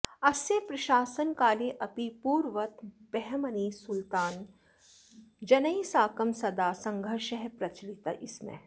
अस्य प्रशासनकालेऽपि पूर्ववत् बहमनि सुल्तान जनैः साकम् सदा सङ्घर्षः प्रचलतिस्म